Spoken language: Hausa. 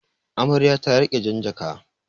Amarya ta riƙi jan jaka.